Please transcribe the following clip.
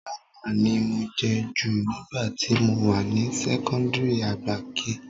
Gálà ni mo jẹ jù nígbà tí mo wà ní sẹ́kọ́ńdìrì àgbà kiie